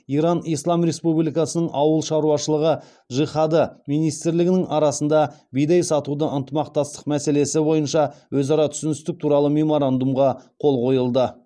иран ислам республикасының ауыл шаруашылығы джихады министрлігінің арасында бидай сатуда ынтымақтастық мәселесі бойынша өзара түсіністік туралы меморандумға қол қойылды